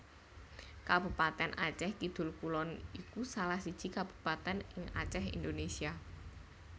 Kabupatèn Acèh Kidul Kulon iku salah siji Kabupatèn ing Acèh Indonésia